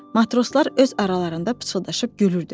Matroslar öz aralarında pıçıldaşıb gülürdülər.